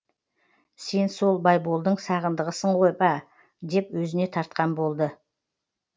сен сол байболдың сағындығысың ғой ба деп өзіне тартқан болды